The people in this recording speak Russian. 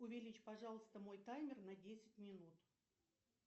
увеличь пожалуйста мой таймер на десять минут